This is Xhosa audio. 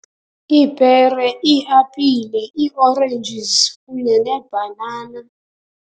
Iipere, iiapile, ii-oranges kunye neebhanana.